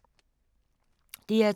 DR2